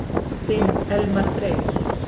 Þinn Elmar Freyr.